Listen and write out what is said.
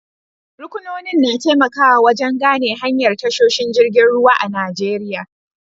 Ruƙunonin na taimakawa wajen gane hanyar tashoshin jirgin ruwa a Najeriya.